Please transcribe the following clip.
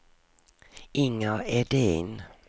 Inger Edin